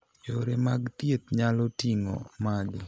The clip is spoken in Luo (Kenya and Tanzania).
Yore mag thieth nyalo ting'o magi.